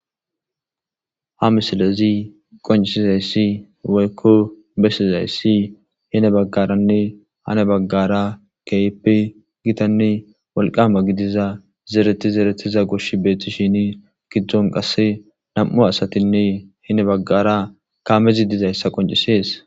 Ha misilezi qoncisizayssi weykko bessizayssi hine baggaranne hane baggara keyepe gitanne walqama gidiza zeereti zeretiza goshi beethti shini giddzon qasse nam'u asatinne hine baggara kaamezi dizayssa qoncisees.